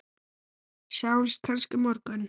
Sjáumst kannski á morgun!